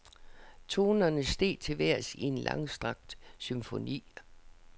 Tonerne steg til vejrs i en langstrakt symfoni.